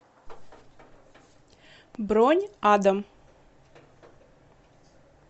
бронь адам